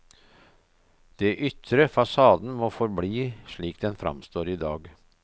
Det ytre, fasaden, må forbli slik den fremstår i dag.